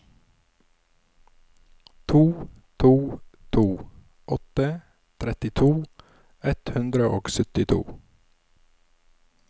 to to to åtte trettito ett hundre og syttito